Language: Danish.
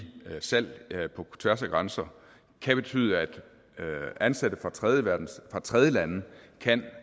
salg af tjenesteydelser på tværs af grænser kan betyde at ansatte fra tredjelande tredjelande kan